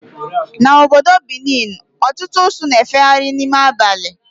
Na obodo Benin, ọtụtụ usu na-efegharị n'ime abali